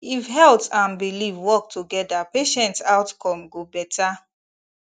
if health and belief work together patient outcome go better